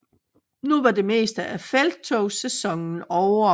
Nu var det meste af felttogssæsonen ovre